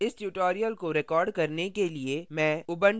इस tutorial को record करने के लिए मैं